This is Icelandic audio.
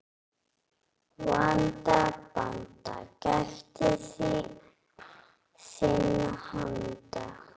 Vanda, banda, gættu þinna handa.